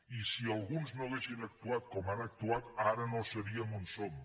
i si alguns no haguessin actuat com han actuat ara no seríem on som